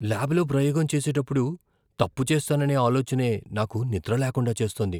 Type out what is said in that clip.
ల్యాబులో ప్రయోగం చేసేటప్పుడు తప్పు చేస్తాననే ఆలోచనే నాకు నిద్రలేకుండా చేస్తోంది.